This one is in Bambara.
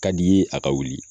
Ka di i ye a ka wuli.